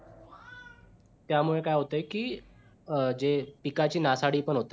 त्यामुळे काय होतंय की अं जे पिकाची नासाडी पण होते.